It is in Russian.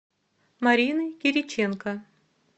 марины кириченко